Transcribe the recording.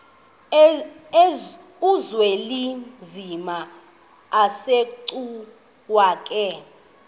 uzwelinzima asegcuwa ke